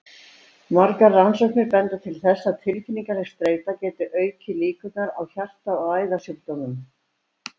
Margar rannsóknir benda til þess að tilfinningaleg streita geti aukið líkurnar á hjarta- og æðasjúkdómum.